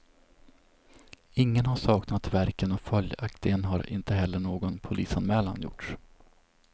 Ingen har saknat verken och följaktligen har inte heller någon polisanmälan gjorts.